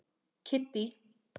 Kiddý